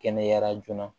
Kɛnɛyara joona